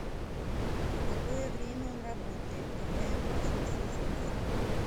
в какое время он работает когда я могу с ним связаться